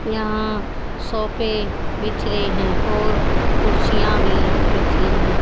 यहां सोफे बीच रहे हैं और कुर्सियां भी बीच रही है।